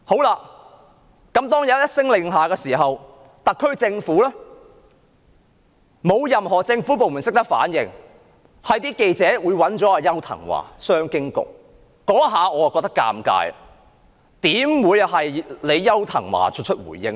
外交部一聲令下，特區政府沒有任何部門懂得反應，只是記者找商務及經濟發展局局長邱騰華回應。